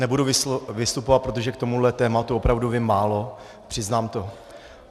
Nebudu vystupovat, protože k tomuhle tématu opravdu vím málo, přiznám to.